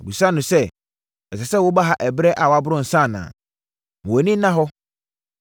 Ɔbisaa no sɛ, “Ɛsɛ sɛ woba ha ɛberɛ a waboro nsã anaa? Ma wʼani nna hɔ!”